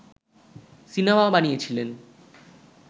cinema বানিয়েছিলেন